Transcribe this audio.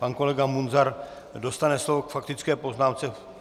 Pan kolega Munzar dostane slovo k faktické poznámce.